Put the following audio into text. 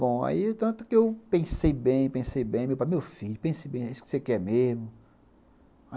Bom, aí tanto que eu pensei bem, pensei bem, meu pai, meu filho, pense bem, é isso que você quer mesmo?